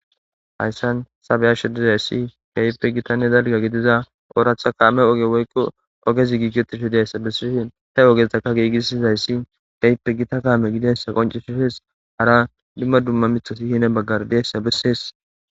hayssan sabeyasho dizayssi gayipe gitanne dalga gidiza ooratha kaame oge woykko ogezi giigitisho deessa bessishin he ogeztaka giigisizayssi gaipe gita kaame gidensa qoncishi hees hara dumma dumma mithosi hine baggar deessa bessees